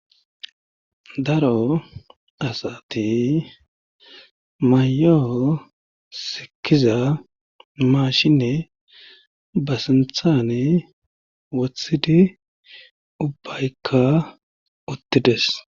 daro asati mayo sikiza maashinne ba sinthane wothidi ubbaykka uttides